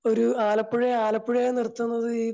ഒരു ആലപ്പുഴ ആലപ്പുഴയെ നിർത്തുന്നത് ഈ